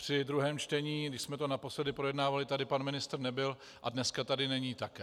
Při druhém čtení, když jsme to naposledy projednávali, tady pan ministr nebyl a dneska tady není také.